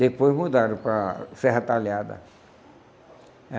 Depois mudaram para Serra Talhada.